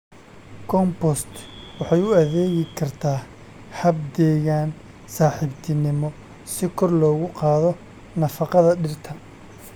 Compost waxay u adeegi kartaa hab deegaan-saaxiibtinimo si kor loogu qaado nafaqada dhirta.